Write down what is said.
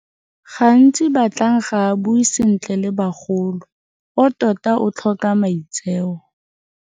Gantsi Batlang ga a bue sentle le bagolo o tota a tlhoka maitseo.